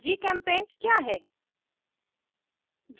gchempaint क्या है